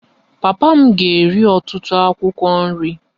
Papa m na-eri ọtụtụ akwụkwọ nri